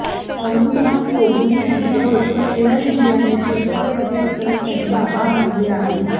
अनुपमा कोहली यांचा photo air इंडियाने ट्विटवर ट्विट करत त्यांचे आभार मानले आहेत